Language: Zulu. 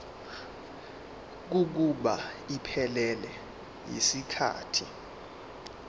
kokuba iphelele yisikhathi